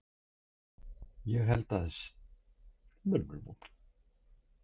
Ég held að það sé ekki góð hugmynd.